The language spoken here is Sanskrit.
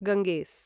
गंगेस्